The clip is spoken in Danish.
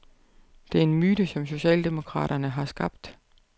Det er en myte, som socialdemokraterne har skabt.